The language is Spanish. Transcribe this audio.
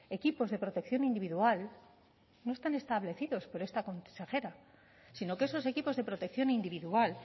equipos de protección individual no están establecidos por esta consejera sino que esos equipos de protección individual